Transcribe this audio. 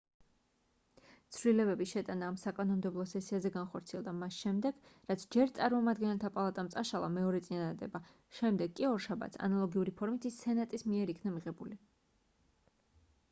ცვლილების შეტანა ამ საკანონმდებლო სესიაზე განხორციელდა მას შემდეგ რაც ჯერ წარმომადგენელთა პალატამ წაშალა მეორე წინადადება შემდეგ კი ორშაბათს ანალოგიური ფორმით ის სენატის მიერ იქნა მიღებული